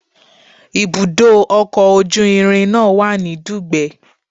Ibùdó ọkọ̀ ojú irin náà wà ní Dugbe